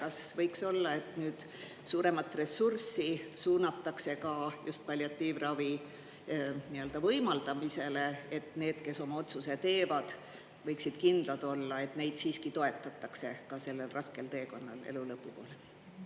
Ja kas võiks olla, et nüüd suuremat ressurssi suunatakse ka just palliatiivravi võimaldamisele, et need, kes oma otsuse teevad, võiksid kindlad olla, et neid siiski toetatakse ka sellel raskel teekonnal elu lõpu poole?